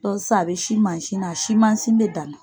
sisan a bɛ sin mansin na a sin mansin bɛ dan na.